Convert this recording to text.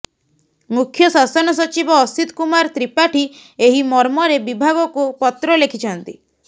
ମୁଖ୍ୟ ଶାସନ ସଚିବ ଅସୀତ କୁମାର ତ୍ରିପାଠୀ ଏହି ମର୍ମରେ ବିଭାଗକୁ ପତ୍ର ଲେଖିଛନ୍ତି